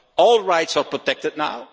All rights are protected now.